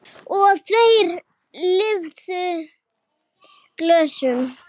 Og þeir lyfta glösum.